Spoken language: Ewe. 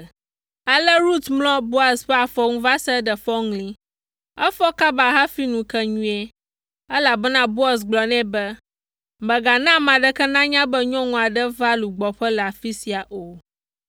Ale Rut mlɔ Boaz ƒe afɔ nu va se ɖe fɔŋli. Efɔ kaba hafi ŋu ke nyuie, elabena Boaz gblɔ nɛ be, “Mègana ame aɖeke nanya be nyɔnu aɖe va lugbɔƒe le afi sia o.”